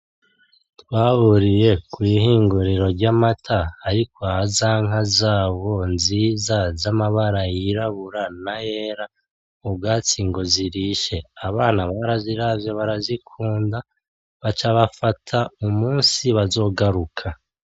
Twahuriye kwi hinguriro ry'amata ari kwa za nka zabo nziza z'amabara yirabura n'ayera, ubwatsi ngo zirishe, abana baraziravye barazikunda baca bafata umusi bazogaruka.